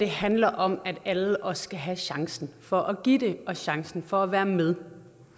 handler om at alle også skal have chancen for at give det og chancen for at være med